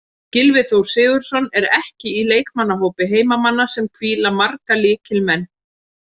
Gylfi Þór Sigurðsson er ekki í leikmannahópi heimamanna sem hvíla marga lykilmenn.